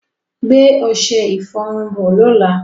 Gbé ọṣẹ-ìfọrun bọ̀ lọ́lá.